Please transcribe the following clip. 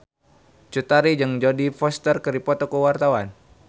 Cut Tari jeung Jodie Foster keur dipoto ku wartawan